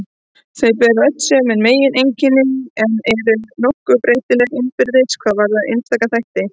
Þau bera öll sömu megineinkennin en eru nokkuð breytileg innbyrðis hvað varðar einstaka þætti.